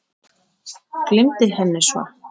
Gleymdi henni svo.